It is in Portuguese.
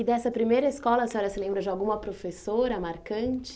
E dessa primeira escola, a senhora se lembra de alguma professora marcante?